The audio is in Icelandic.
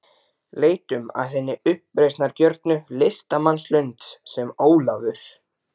Leitum að hinni uppreisnargjörnu listamannslund, sem Ólafur